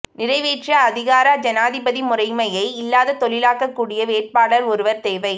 நிறைவேற்று அதிகார ஜனாதிபதி முறைமையை இல்லாதொழிக்கக் கூடிய வேட்பாளர் ஒருவர் தேவை